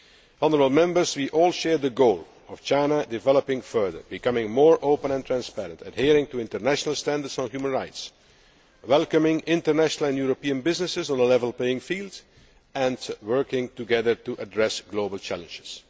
Honourable Members, we all share the goal of China developing further, becoming more open and transparent, adhering to international standards on human rights, welcoming international and European businesses on a level playing field and working together to address global challenges.